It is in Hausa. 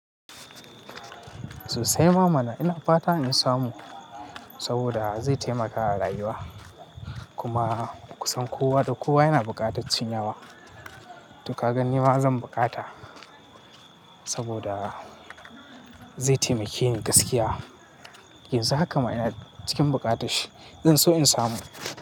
Sosai ma mana ina fata in samu saboda zai taimaka a rayuwa. Kuma kusan kowa da kowa yana buƙataccin yawa. To ka gani ma zan bukata saboda zai taimake ni gaskiya. Yanzu haka ma ina cikin bukatash shi. In so in samu.